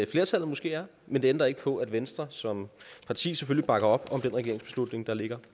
flertallet måske er men det ændrer ikke på at venstre som parti selvfølgelig bakker op om den regeringsbeslutning der ligger